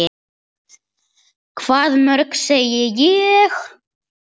Hvað mörg, segi ég.